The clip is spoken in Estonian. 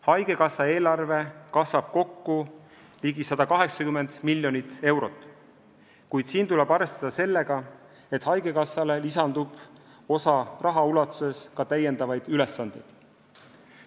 Haigekassa eelarve kasvab kokku ligi 180 miljonit eurot, kuid siin tuleb arvestada sellega, et haigekassale lisandub osa raha ulatuses ka täiendavaid ülesandeid.